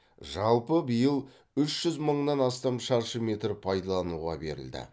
жалпы биыл үш жүз мыңнан астам шаршы метр пайдалануға берілді